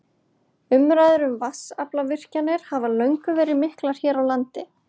Umræður um vatnsaflsvirkjanir hafa löngum verið miklar hér á landi.